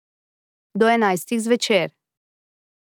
Do enajstih zvečer.